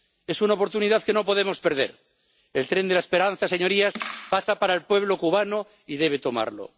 Es una oportunidad que no podemos perder el tren de la esperanza, señorías, pasa para el pueblo cubano y debe tomarlo.